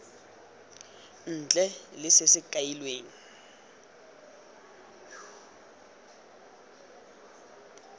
ntle le se se kailweng